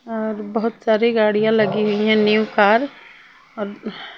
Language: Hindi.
और बहोत सारी गाड़ियां लगी हुई है न्यू कार अ ब --